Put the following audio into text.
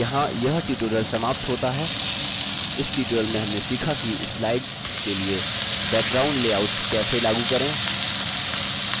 यहाँ यह tutorial समाप्त होता है इस tutorial में हमने सीखा कि slides के लिए backgrounds लेआउट्स कैसे लागू करें